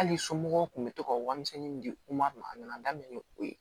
Hali somɔgɔw kun bɛ to ka warimisɛnnin min di u ma a nana daminɛ ni o ye